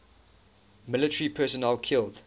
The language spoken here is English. military personnel killed